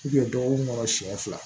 dɔgɔkun kɔnɔ siɲɛ fila